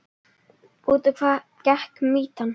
Út á hvað gekk mýtan?